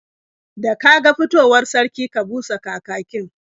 Da ka ga fitowar sarki, ka busa kakakin.